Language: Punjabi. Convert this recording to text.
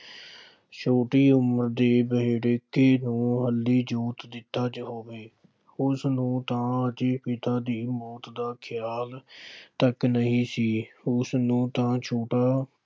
ਛੋਟੀ ਉਮਰ ਦੇ ਦਿੱਤਾ ਹੋਵੇ, ਉਸਨੂੰ ਤਾਂ ਹਜੇ ਪਿਤਾ ਦੀ ਮੌਤ ਦਾ ਖਿਆਲ ਤੱਕ ਨਹੀਂ ਸੀ। ਉਸਨੂੰ ਤਾਂ ਛੋਟਾ